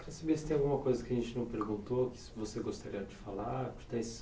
Queria saber se tem alguma coisa que a gente não perguntou, que se você gostaria de falar,